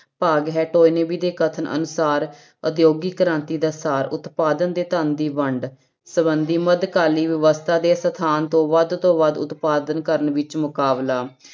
ਭਾਗ ਹੈ, ਤੋਇਨਵੀ ਦੇ ਕਥਨ ਅਨੁਸਾਰ ਉਦਯੋਗਿਕ ਕ੍ਰਾਂਤੀ ਦਾ ਸਾਰ ਉਤਪਾਦਨ ਦੇ ਧਨ ਦੀ ਵੰਡ ਸੰਬੰਧੀ ਮੱਧਕਾਲੀਨ ਵਿਵਸਥਾ ਦੇ ਸਥਾਨ ਤੋਂ ਵੱਧ ਤੋਂ ਵੱਧ ਉਤਪਾਦਨ ਕਰਨ ਵਿੱਚ ਮੁਕਾਬਲਾ